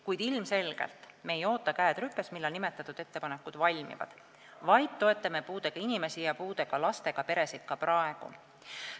Kuid ilmselgelt ei oota me, käed rüpes, millal nimetatud ettepanekud valmivad, vaid toetame puudega inimesi ja puudega lastega peresid ka praegu.